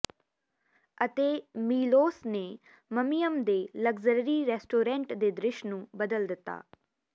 ਅਤੇ ਮੀਲੋਸ ਨੇ ਮਮੀਅਮ ਦੇ ਲਗਜ਼ਰੀ ਰੈਸਟੋਰੈਂਟ ਦੇ ਦ੍ਰਿਸ਼ ਨੂੰ ਬਦਲ ਦਿੱਤਾ ਹੈ